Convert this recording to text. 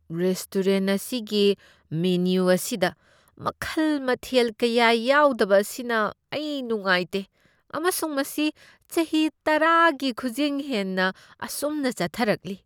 Restaurant ꯑꯁꯤꯒꯤ menu ꯑꯁꯤꯗ ꯃꯈꯜ ꯃꯊꯦꯜ ꯀꯌꯥ ꯌꯥꯎꯗꯕ ꯑꯁꯤꯅ ꯑꯩ ꯅꯨꯡꯉꯥꯏꯇꯦ ꯑꯃꯁꯨꯡ ꯃꯁꯤ ꯆꯍꯤ ꯇꯔꯥꯒꯤ ꯈꯨꯖꯤꯡ ꯍꯦꯟꯅ ꯑꯁꯨꯝꯅ ꯆꯠꯊꯔꯛꯂꯤ꯫